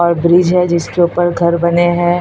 और ब्रिज है जिसके ऊपर घर बने हैं।